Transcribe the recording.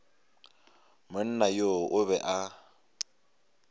monna yoo o be a